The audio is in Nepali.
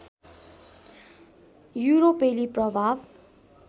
युरोपेली प्रभाव